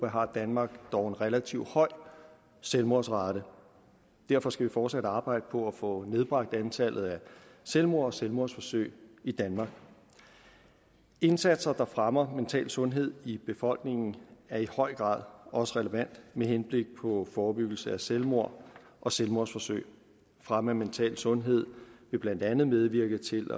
har danmark dog en relativt høj selvmordsrate derfor skal vi fortsat arbejde på at få nedbragt antallet af selvmord og selvmordsforsøg i danmark indsatser der fremmer mental sundhed i befolkningen er i høj grad også relevant med henblik på forebyggelse af selvmord og selvmordsforsøg fremme af mental sundhed vil blandt andet medvirke til